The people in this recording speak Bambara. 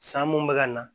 San mun bɛ ka na